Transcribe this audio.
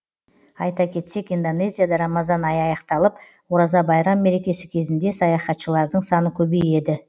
айта кетсек индонезияда рамазан айы аяқталып ораза байрам мерекесі кезінде саяхатшылардың саны көбейеді